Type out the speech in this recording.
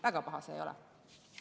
Väga paha see ei ole.